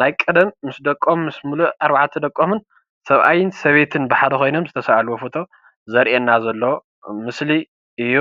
ናይ ቀደም ምስ ደቀም ምስ ምሉእ ኣርባዕተ ደቀሙን ሰብኣይን ሰበይቲን ብሓደ ኮይኖም ዝተሳኣልዎ ፎቶ ዘርእየና ዘሎ ምስሊ እዩ።